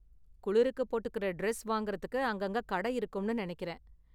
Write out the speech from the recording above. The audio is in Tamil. குளிருக்கு போட்டுக்கற டிரஸ் வாங்குறதுக்கு அங்கங்க கடை இருக்கும்னு நினைக்கிறேன்.